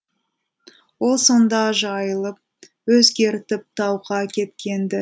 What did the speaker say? ол сонда жайылып өзгертіп тауға кеткен ді